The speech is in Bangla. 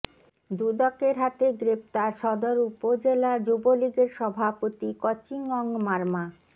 দুদকের হাতে গ্রেপ্তার সদর উপজেলা যুবলীগের সভাপতি ক্যচিং অং মারমা